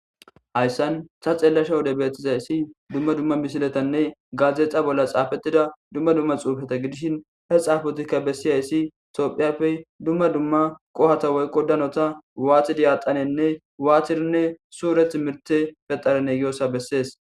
Hayssan ta xeelasha wode bettizayssi dumma dumma misiletanne gaadzdexa bolla xaafetida dumma dumma xuufata gidishin he xaafotikka bessiyayssi tophiyappey dumma dumma qohata woykko danota waatidi yaaqanenne waatirinne suureth mirte fexarenne giossa bessees.